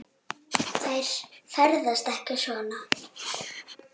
Hann svaraði að bragði.